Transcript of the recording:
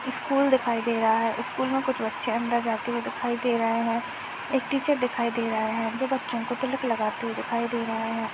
School दिखाई दे रहा है स्कूल में कुछ बच्चे अंदर जाते हुए दिखाई दे रहे है| एक टीचर दिखाई दे रहा है जो बच्चो को तिलक लगाते हुए दिखाई दे रहा है।